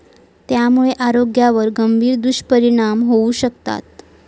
त्यामुळे आरोग्यावर गंभीर दुष्परिणाम होऊ शकतात.